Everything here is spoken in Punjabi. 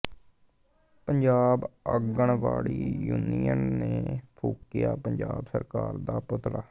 ਪੰਜਾਬ ਆਂਗਨਵਾੜੀ ਯੂਨੀਅਨ ਨੇ ਫੂਕਿਆ ਪੰਜਾਬ ਸਰਕਾਰ ਦਾ ਪੁਤਲਾ